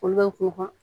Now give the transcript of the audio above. Olu bɛ ko ka